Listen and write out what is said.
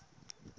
ku nga ri na ku